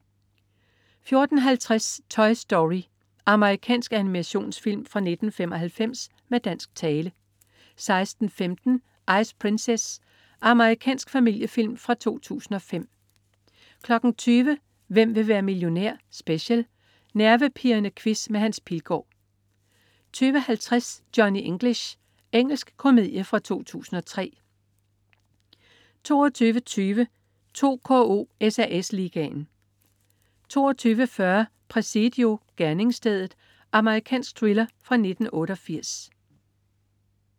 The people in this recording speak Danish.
14.50 Toy Story. Amerikansk animationsfilm fra 1995 med dansk tale 16.15 Ice Princess. Amerikansk familiefilm fra 2005 20.00 Hvem vil være millionær? Special. Nervepirrende quiz med Hans Pilgaard 20.50 Johnny English. Engelsk komedie fra 2003 22.20 2KO: SAS Ligaen 22.40 Presidio. Gerningsstedet. Amerikansk thriller fra 1988